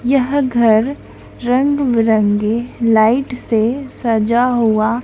यह घर रंग बिरंगे लाइट से सजा हुआ